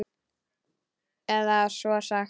Eða svo er sagt.